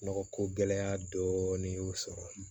Nɔgɔ ko gɛlɛya dɔɔnin y'u sɔrɔ